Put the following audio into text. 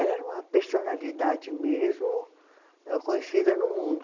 Ela era uma personalidade mesmo eh conhecida no mundo.